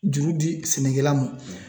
Juru di sɛnɛkɛla ma